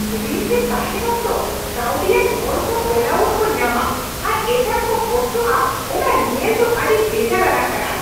ᱨᱤᱱ ᱨᱮ ᱛᱟᱦᱮᱸᱱ ᱚᱠᱛᱚ ᱠᱟᱹᱣᱰᱤ ᱟᱱ ᱦᱚᱲ ᱠᱚ ᱵᱮᱞᱟᱹᱣᱩᱴ ᱠᱚ ᱧᱟᱢᱟ ᱟᱨ ᱮᱴᱟᱜ ᱠᱚ ᱠᱚᱥᱴᱚᱜᱼᱟ ᱚᱱᱟ ᱧᱮᱞ ᱫᱚ ᱟᱹᱰᱤ ᱵᱮᱡᱟᱨᱟᱱᱟᱜ ᱠᱟᱱᱟ ᱾